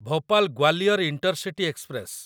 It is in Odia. Bhopal Gwalior intercity express